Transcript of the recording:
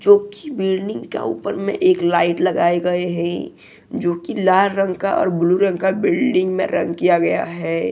जो की बिल्डिंग के ऊपर में एक लाइट लगाएं गए हैं जो की लाल रंग का और ब्लू रंग का बिल्डिंग में रंग किया गया हैं।